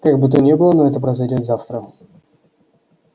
как бы то ни было но это произойдёт завтра